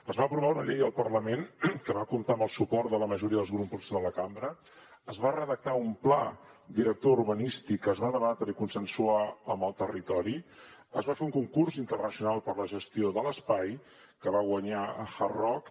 es va aprovar una llei al parlament que va comptar amb el suport de la majoria dels grups de la cambra es va redactar un pla director urbanístic que es va debatre i consensuar amb el territori es va fer un concurs internacional per a la gestió de l’espai que va guanyar hard rock